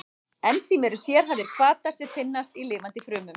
Ensím eru sérhæfðir hvatar sem finnast í lifandi frumum.